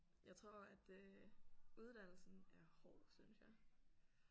Jeg tror at øh uddannelsen er hård synes jeg